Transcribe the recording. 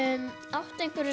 áttu einhverja